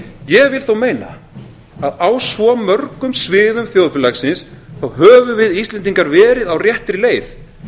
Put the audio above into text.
ég vil þó meina að á svo mörgum sviðum þjóðfélagsins höfum við íslendingar verið á réttri leið